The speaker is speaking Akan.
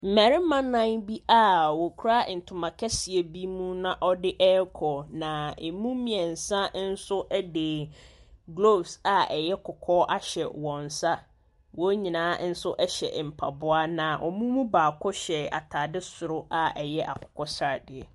Mmarima nnan bi a wɔkura ntoma kɛseɛ bi mu na wɔde rekɔ, na ɛmu mmeɛnsa nso de gloves a ɛyɛ kɔkɔɔ ahyɛ wɔn nsa. Wɔn nyinaa nso hyɛ mpaboa, na wɔn mu baako hyɛ atade soro a ɛyɛ akokɔ sradeɛ.